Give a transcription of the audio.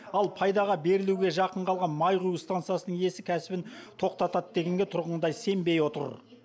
ал пайдаға берілуге жақын қалған май құю стансасының иесі кәсібін тоқтатады дегенге тұрғындар сенбей отыр